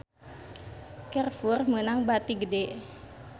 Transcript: Carrefour meunang bati gede